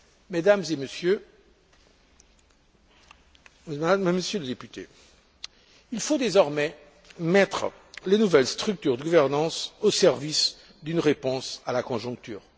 Mesdames et Messieurs les députés, il faut désormais mettre les nouvelles structures de gouvernance au service d'une réponse à la conjoncture.